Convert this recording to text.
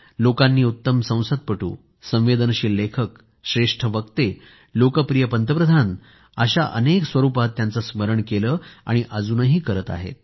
लोकांनी उत्तम संसदपटू संवेदनशील लेखक श्रेष्ठ वक्ते लोकप्रिय पंतप्रधान अशा स्वरूपात त्यांचं स्मरण केलं आणि अजूनही करत आहेत